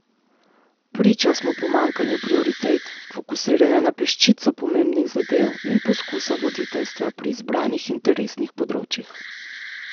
Priča smo pomanjkanju prioritet, fokusiranja na peščico pomembnih zadev in poskusa voditeljstva pri izbranih interesnih področjih.